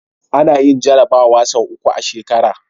Anayin jarabawa sau uku a shekara